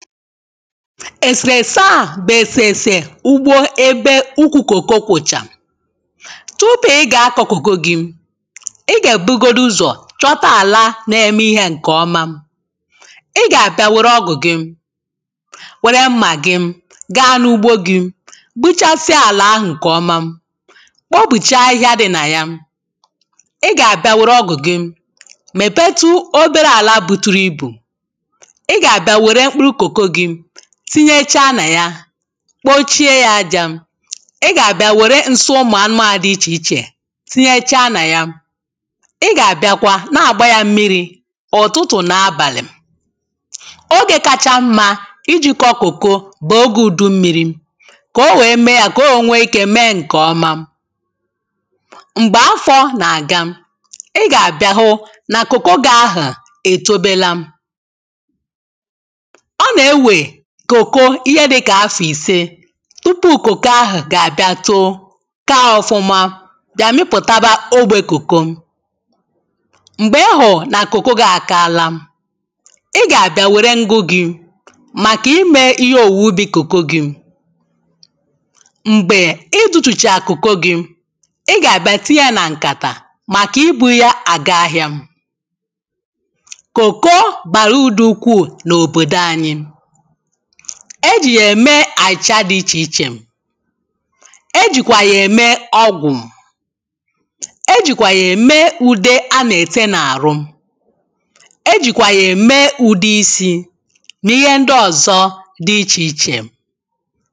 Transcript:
èsèrèse a bụ̀ èsèrèsè ugbo ebe ukwu cocoa kwụ̀chà tupu ị gà-akọ̀ cocoa gị ị gà-èbugodu ụzọ̀ chọta àla na-eme ihe ǹkè ọma ị gà-àbịa wère ọgụ̀ gị wère mmà gị gaa n’ugbo gị gbuchasịa àlà ahụ̀ ǹkè ọma kpopùchaa ahịhịa dị nà ya ị gà-àbịa wère ọgụ̀ gị mèpetụ ọbere àla bùtùrù ibù ị gà-abịa wère mkpụrụ cocoa gị tíɲéʧá nà já kpòchie ya aja ị gà-abịa wère nsi ụmụ̀ anụmànụ̀ dị ichè ichè tinyechaa nà ya ị gà-àbịa kwa na àgba ya mmiri ụ̀tụtụ̀ na abálị̀ oge kaacha mma ijì kọ cocoa bụ̀ oge ùdummịrị kà ọ wee mee ya kà ọ wee nwee ike kà ọ wee mee ǹkè ọma m̀gbè afo nà-àga ị gà-àbịa hụ na cocoa gị ahụ̀ etòbela ọ nà-ewe cocoa ihe dịkà afọ̀ ìse tupù cocoa ahụ̀ ọ gà-àbịa too kaa ọ̀fụma bịa mipụ̀taba ogbe cocoa m̀gbè ị hùrù nà cocoa gị́ àkala ị gà-àbịa wèré ngwụ gị màkà ímē ɪ́ɦé òwùwè úbī cocoa gɪ́ m̀gbè ị dutùchaa cocoa gị ị gà-àbịa tinye ya nà ǹkàtà màkà ibu ya àga ahịa cocoa bàrà urù dị ukwuù n’òbòdò anyị e jì yà ème àchịcha dị ichè ichè e jì kwà yà ème ọgwụ e jì kwà yà ème ùde a na-ete na ahụ e jì kwà yà ème ùde isi nà ịhe ndị ọ̀zọ dị ichè ichè